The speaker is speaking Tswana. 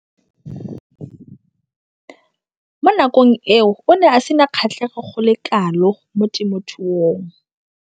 Mo nakong eo o ne a sena kgatlhego go le kalo mo temothuong.